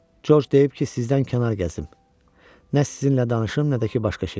Corc deyib ki, sizdən kənar gəzim, nə sizinlə danışım, nə də ki başqa şey.